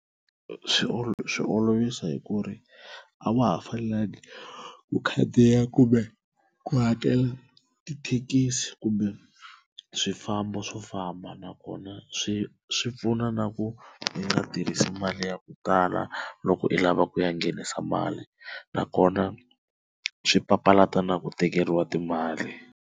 Swi swi olovisa hi ku ri a wa ha fanelangi u khandziya kumbe ku hakela tithekisi kumbe swifambo swo famba na kona swi swi pfuna na ku i nga tirhisi mali ya ku tala loko i lava ku ya nghenisa mali na kona swi papalata na ku tekeriwa timali.